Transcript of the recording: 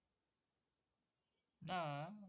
না আহ